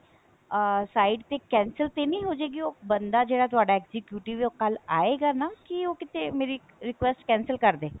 ਅਹ site ਤੇ cancel ਤੇ ਨਹੀਂ ਹੋਜੇਗੀ ਉਹ ਬੰਦਾ ਜਿਹੜਾ ਤੁਹਾਡਾ executive ਹੈ ਉਹ ਕੱਲ ਆਏਗਾ ਨਾ ਕੀ ਉਹ ਕਿਤੇ ਮੇਰੀ request cancel ਕਰਦੇ